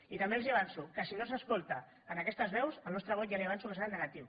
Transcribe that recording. i també els avanço que si no s’escolten aquestes veus el nostre vot ja li avanço que serà negatiu